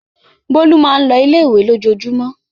Bólú máa ń lọ ilé-ìwé lójoojúmọ́.